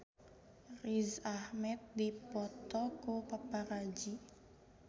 Riz Ahmed dipoto ku paparazi